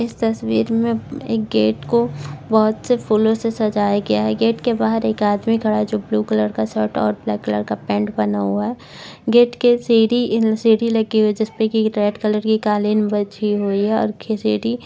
इस तस्वीर में एक गेट को बोहोत से फूलोसे सजाया गया है गेट के बहार एक आदमी खड़ा है जो ब्लू कलर का शर्ट और ब्लैक कलर का पैंट पहना है गेट की सीडी सीडी लगी हुई है जिसपे रेड कलर की कालीन बिछी हुई है और खि सीडी --